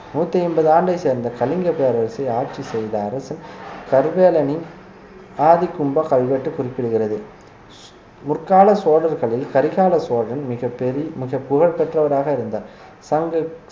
நூத்தி ஐம்பது ஆண்டைச் சேர்ந்த கலிங்கப் பேரரசு ஆட்சி செய்த அரசு கரிகாலனின் ஆதிகூம்ப கல்வெட்டு குறிப்பிடுகிறது முற்கால சோழர்களில் கரிகால சோழன் மிகப் பெரிய மிக புகழ் பெற்றவராக இருந்தார் சங்க